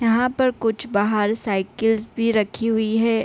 यहाँ पर बाहर कुछ बाहर साइकिल भी रखी हुई है।